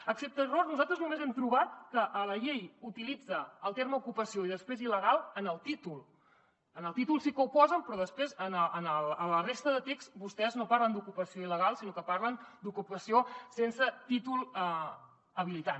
excepte error nosaltres només hem trobat que la llei utilitza els termes ocupació i després il·legal en el títol en el títol sí que ho posen però després a la resta de text vostès no parlen d’ocupació il·legal sinó que parlen d’ocupació sense títol habilitant